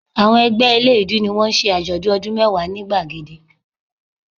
Àwọn ẹgbẹ́ eléèédú ni wọ́n ń ṣe àjọ̀dún ọdún mẹ́wàá ni gbàgede